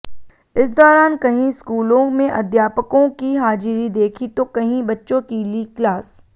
इस दौरान कहीं स्कूलों में अध्यापकों की हाजिरी देखी तो कहीं बच्चों की ली क्लास